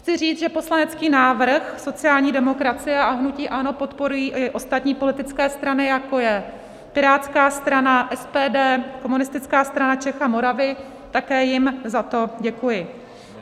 Chci říct, že poslanecký návrh sociální demokracie a hnutí ANO podporují i ostatní politické strany, jako je Pirátská strana, SPD, Komunistická strana Čech a Moravy, také jim za to děkuji.